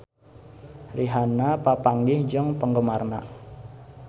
Rihanna papanggih jeung penggemarna